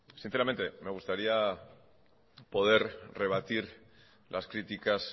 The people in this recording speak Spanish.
sinceramente me gustaría poder rebatir las críticas